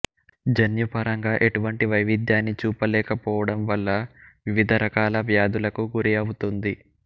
జన్యుపరంగా ఎటువంటి వైవిధ్యాన్నీ చూపలేకపోవడం వల్ల వివిధ రకాల వ్యాధులకు గురిఅవుతుంది